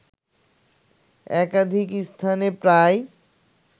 একাধিক স্থানে প্রায়